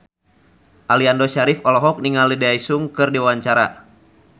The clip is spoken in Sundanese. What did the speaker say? Aliando Syarif olohok ningali Daesung keur diwawancara